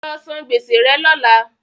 Lọ san gbèsè rẹ lọ́lá!